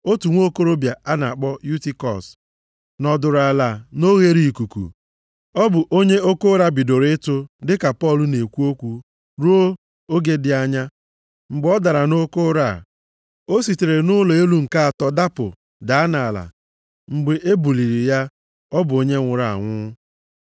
Otu nwokorobịa a na-akpọ Yutikọs nọdụrụ ala nʼoghereikuku, ọ bụ onye oke ụra bidoro ịtụ dịka Pọl na-ekwu okwu ruo oge dị anya. Mgbe ọ dara nʼoke ụra a, o sitere na nʼụlọ elu nke atọ dapụ, daa nʼala. Mgbe e buliri ya, ọ bụ onye nwụrụ anwụ.